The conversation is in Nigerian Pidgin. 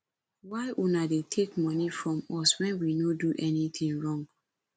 why una dey take money from us wen we no do anything wrong